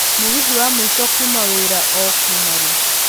mũgithi wa mũico kuuma wira ũ kuuma rĩ